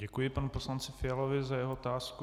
Děkuji panu poslanci Fialovi za jeho otázku.